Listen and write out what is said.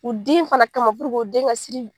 U den fɛnɛ kama puruke o den ka siri